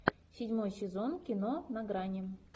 седьмой сезон кино на грани